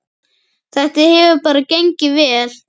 Þetta hefur bara gengið vel.